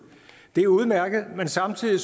det er udmærket men samtidig